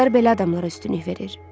Qızlar belə adamlara üstünlük verir.